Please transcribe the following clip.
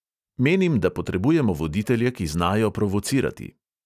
Menim, da potrebujemo voditelje, ki znajo provocirati.